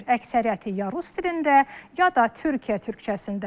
Əksəriyyəti ya rus dilində, ya da Türkiyə türkcəsində.